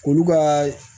Olu ka